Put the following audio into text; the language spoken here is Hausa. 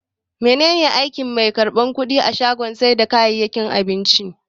Mene ne aikin mai karban kudi a shagon sai da kayayyakin abinci?